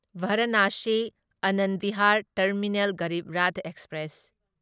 Varanasi Anand Vihar terminal Garib Rath express